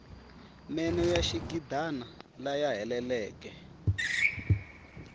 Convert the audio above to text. meno ya xigidana laya heleleke